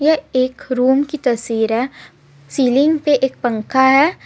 यह एक रूम की तस्वीर है सीलिंग पे एक पंखा है यहा--